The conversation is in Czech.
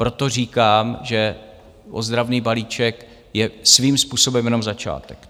Proto říkám, že ozdravný balíček je svým způsobem jenom začátek.